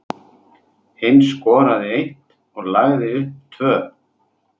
Hinn skoraði eitt og lagði upp tvö.